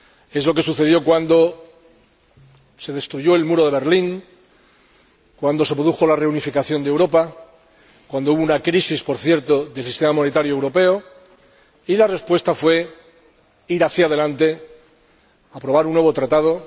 Es lo que sucedió cuando se destruyó el muro de Berlín, cuando se produjo la reunificación de Europa, cuando hubo una crisis —por cierto, del sistema monetario europeo— y la respuesta fue ir hacia delante, aprobar un nuevo Tratado.